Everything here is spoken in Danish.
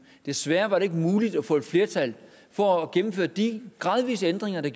desværre var det ikke muligt at få flertal for at gennemføre de gradvise ændringer der